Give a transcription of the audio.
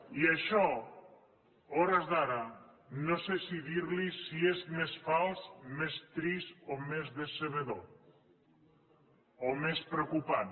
i això a hores d’ara no sé si dir li si és més fals més trist o més decebedor o més preocupant